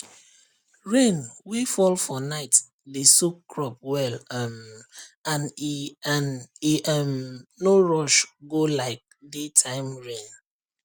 rain wey fall for night dey soak crop well um and e and e um no rush go like daytime rain